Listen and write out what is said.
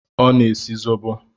Ọ na-esi zobo.